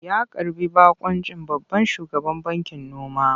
Ya karɓi baƙuncin babban shugaban bankin noma.